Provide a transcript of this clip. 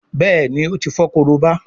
Béèni o tí fo Korobá.